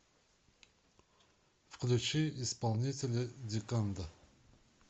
включи исполнителя диканда